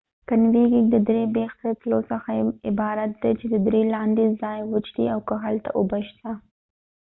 کنیوېنګ یا:کېنیونیرنګ د درې بیخ ته د تلو څخه عبارت ده چې د درې لاندې ځای وچ دي او که هلته اوبه شته